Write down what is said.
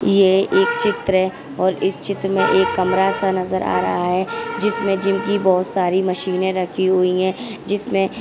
ये एक चित्र हैं और इस चित्र में एक कमरा सा नजर आ रहा हैं जिसमे जिम की बहुत सारी मशीने रखी हुई हैं जिसमें--